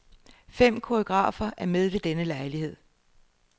Fem koreografer er med ved denne lejlighed.